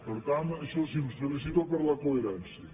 per tant això sí els felicito per la coherència